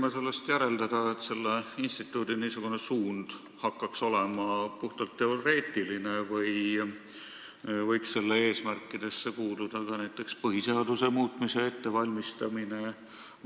Kas ma võin sellest järeldada, et selle instituudi suund on puhtalt teoreetiline või võib selle eesmärkidesse kuuluda ka näiteks põhiseaduse muutmise ettevalmistamine?